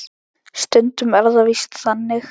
Stundum er það víst þannig!